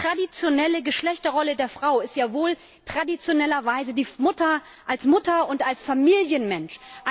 Die traditionelle Geschlechterrolle der Frau ist ja wohl traditionellerweise die als Mutter und als Familienmensch.